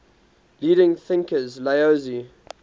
leading thinkers laozi